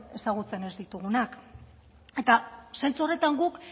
ezagutzen ez ditugunak eta zentzu horretan guk